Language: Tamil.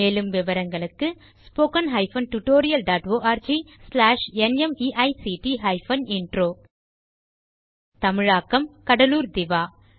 மேலும் விவரங்களுக்கு spoken hyphen tutorial dot org slash நிமைக்ட் ஹைபன் இன்ட்ரோ தமிழாக்கம் கடலூர் திவா